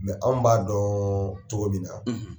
Mɛ anw b'a dɔn cogo min na, .